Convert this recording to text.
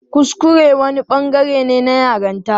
Kuskure wani bangare ne na yaranta.